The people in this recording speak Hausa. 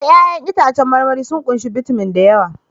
Eh! 'Ya'yan itãcen marmari sun ƙunshi bitamin da yawa